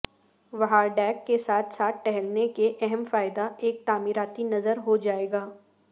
Vihar deck کے ساتھ ساتھ ٹہلنے کے اہم فائدہ ایک تعمیراتی نظر ہو جائے گا